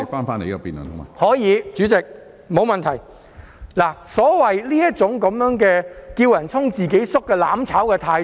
目前的情況完美體現了反對派"叫人衝，自己縮"的"攬炒"態度。